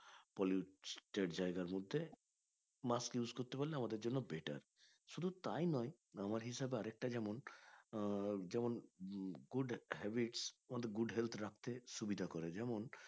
Polluted জায়গার মধ্যে mask use করতে পারলে আমাদের জন্য better শুধু তাই নয় আমার হিসাবে আরেককটা যেমন আহ যেমন good habits আমাদের good health রাখতে সুবিধা করে যেমন